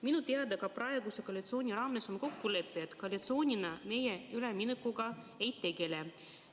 Minu teada on ka praeguse koalitsiooni raames sõlmitud kokkulepe, et koalitsioonina me üleminekuga ei tegele.